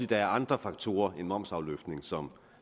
der er andre faktorer end momsafløftning som